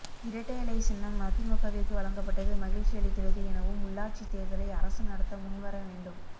இரட்டை இலை சின்னம் அதிமுகவிற்கு வழங்கப்பட்டது மகிழ்ச்சி அளிக்கிறது எனவும் உள்ளாட்சி தேர்தலை அரசு நடத்த முன்வர வேண்டும்